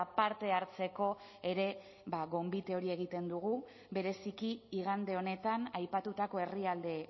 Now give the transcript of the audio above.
parte hartzeko ere gonbite hori egiten dugu bereziki igande honetan aipatutako herrialde